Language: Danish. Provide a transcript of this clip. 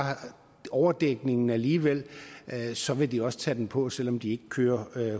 de overdækningen alligevel så vil de også tage den på selv om de ikke kører